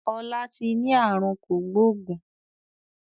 Ọlá tí ni àrùn kògbógùn